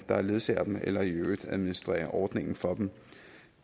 der ledsager dem eller i øvrigt administrerer ordningen for dem